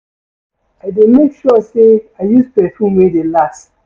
I dey make sure sey I use perfume wey dey last.